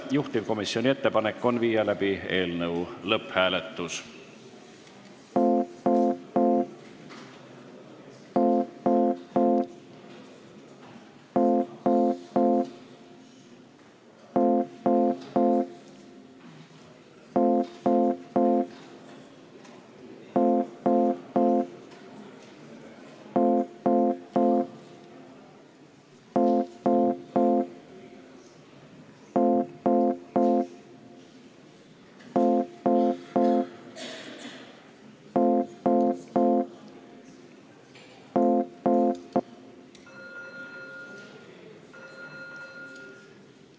Juhtivkomisjoni ettepanek on viia läbi eelnõu lõpphääletus.